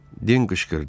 Den qışqırdı.